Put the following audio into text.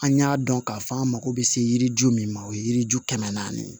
An y'a dɔn k'a fɔ an mako bɛ se yiriju min ma o ye yiri ju kɛmɛ naani ye